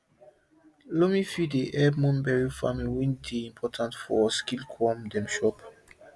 loamy field dey help mulberry farming wey dey important for silkworm dem chop